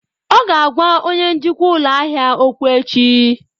Ọ ga-agwa onye njikwa ụlọ ahịa okwu echi.